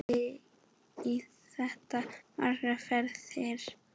Gerði í þetta margar ferðir.